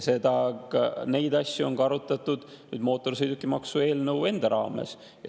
Neid asju on arutatud ka mootorsõidukimaksu eelnõu enda raames.